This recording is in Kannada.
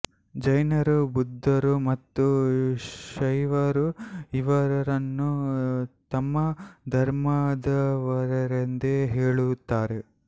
ಜೈನರು ಬುಧ್ದರು ಮತ್ತು ಶೈವರು ಇವರನ್ನು ತಮ್ಮ ಧರ್ಮದವರೆಂದು ಹೇಳುತ್ತಾರೆ